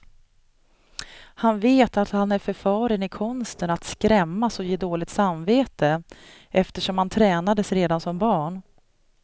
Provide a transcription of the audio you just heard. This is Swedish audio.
Han vet att han är förfaren i konsten att skrämmas och ge dåligt samvete, eftersom han tränades redan som barn.